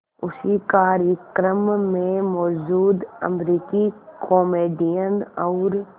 उसी कार्यक्रम में मौजूद अमरीकी कॉमेडियन और